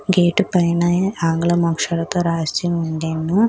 Gate పైన ఆంగ్లం అక్షరాలతో రాసి ఉండెను.